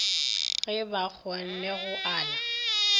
ge ba kgonne go ala